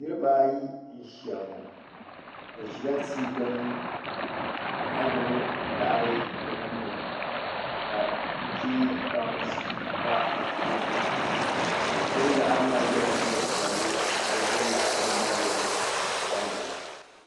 Niriba ayi n ziya ŋɔ bi zila tia gbini ka gbubi laɣiri bi nuu ni ka nuchɛ baŋsi pa bi tooni ŋuni gbubi laɣiri maa yiɛla liiga piɛlli ka ŋuni bi gbubi liɣiri maa mi yiɛ liiga ka di gari gari.